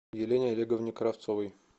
елене олеговне кравцовой